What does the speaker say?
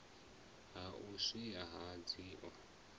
ha u iswa ha idzo